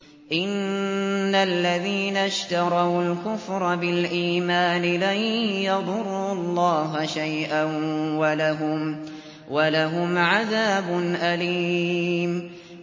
إِنَّ الَّذِينَ اشْتَرَوُا الْكُفْرَ بِالْإِيمَانِ لَن يَضُرُّوا اللَّهَ شَيْئًا وَلَهُمْ عَذَابٌ أَلِيمٌ